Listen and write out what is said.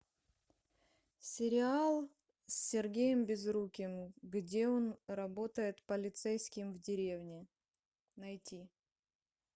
сериал с сергеем безруковым где он работает полицейским в деревне найти